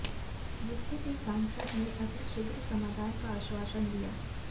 जिसके लिए सांसद ने अति शीघ्र समाधान का आश्वासन दिया